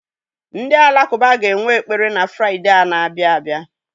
Ndị alakụba ga-enwe ekpere na Fraịde a na-abịa abịa.